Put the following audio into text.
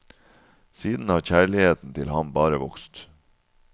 Siden har kjærligheten til ham bare vokst.